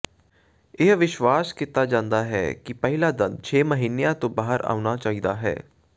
ਇਹ ਵਿਸ਼ਵਾਸ ਕੀਤਾ ਜਾਂਦਾ ਹੈ ਕਿ ਪਹਿਲਾ ਦੰਦ ਛੇ ਮਹੀਨਿਆਂ ਤੋਂ ਬਾਹਰ ਆਉਣਾ ਚਾਹੀਦਾ ਹੈ